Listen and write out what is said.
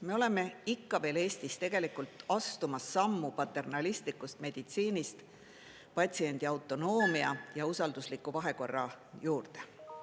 Me oleme ikka veel Eestis tegelikult astumas sammu paternalistlikust meditsiinist patsiendi autonoomia ja usaldusliku vahekorra juurde.